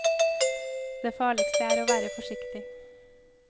Det farligste er å være forsiktig.